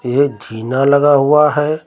यह जीना लगा हुआ है।